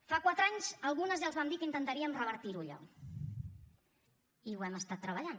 fa quatre anys algunes ja els vam dir que intentaríem revertir ho allò i ho hem estat treballant